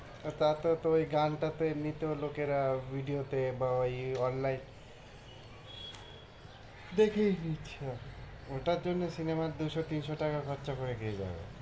আর তাতেও তো ওই গানটা তে এমনিতেও লোকেরা video তে বা ওই online দেখেই নিচ্ছে, ওটার জন্যে সিনেমার দুশো-তিনশো টাকা খরচা করে কে যাবে?